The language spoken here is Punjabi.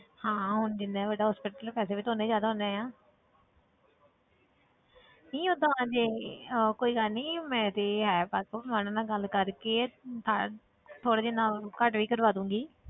ਹਾਂ ਹੁਣ ਜਿੰਨਾ ਵੱਡਾ hospital ਪੈਸੇ ਵੀ ਤਾਂ ਉਨੇ ਹੀ ਜ਼ਿਆਦਾ ਹੋਣੇ ਆਂ ਨਹੀਂ ਓਦਾਂ ਦੀ ਅਹ ਕੋਈ ਗੱਲ ਨੀ ਮੇਰੀ ਹੈ ਵਾਕਫ਼ madam ਨਾਲ ਗੱਲ ਕਰਕੇ ਦ~ ਥੋੜ੍ਹਾ ਜਿੰਨਾ ਘੱਟ ਵੀ ਕਰਵਾ ਦੇਵਾਂਗੀ।